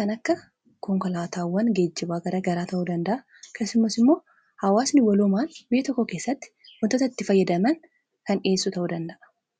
kan akka konkolaataawwan geejjiwaagara garaa ta'uu danda'a keesumas immoo haawaasni waloomaan biyya tokko keessatti mutatatti fayyadaman kan dhi'eessu ta'uu danda'a